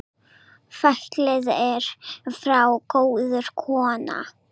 Fallin er frá góð kona.